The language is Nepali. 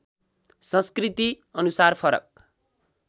संस्कृति अनुसार फरक